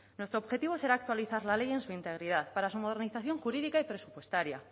nuestro objetivo será actualizar la ley en su integridad para su modernización jurídica y presupuestaria